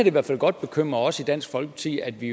i hvert fald godt bekymre os i dansk folkeparti at vi